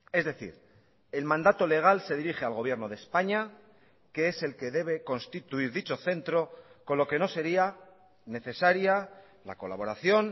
es decir el mandato legal se dirige al gobierno de españa que es el que debe constituir dicho centro con lo que no sería necesaria la colaboración